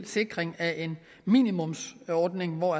sikring af en minimumsordning hvor